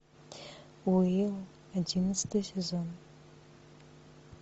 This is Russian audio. уилл одиннадцатый сезон